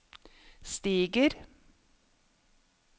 stiger